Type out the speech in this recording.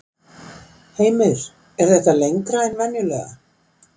Heimir: Er þetta lengra en venjulega?